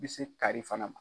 I bɛ se kari fana ma.